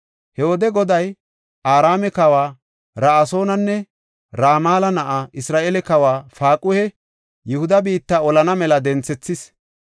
He wode Goday Araame kawa Ra7asoonanne Ramala na7aa, Isra7eele kawa Paaquhe Yihuda biitta olana mela denthethis.